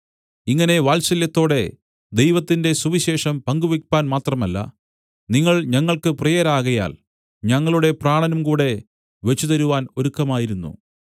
ഇങ്ങനെ വാത്സല്യത്തോടെ ദൈവത്തിന്റെ സുവിശേഷം പങ്കുവെപ്പാൻ മാത്രമല്ല നിങ്ങൾ ഞങ്ങൾക്കു പ്രിയരാകയാൽ ഞങ്ങളുടെ പ്രാണനും കൂടെ വെച്ചുതരുവാൻ ഒരുക്കമായിരുന്നു